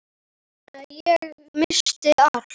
Þannig að ég missti allt.